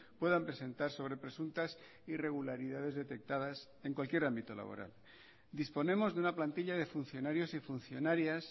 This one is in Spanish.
puedan presentar sobre presuntas irregularidades detectadas en cualquier ámbito laboral disponemos de una plantilla de funcionarios y funcionarias